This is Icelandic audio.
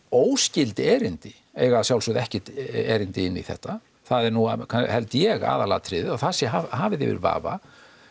óskyld erindi eiga að sjálfsögðu ekkert erindi inn í þetta það er nú held ég aðalatriðið að það sé hafið yfir vafa